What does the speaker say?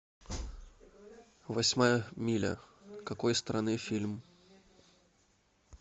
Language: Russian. восьмая миля какой страны фильм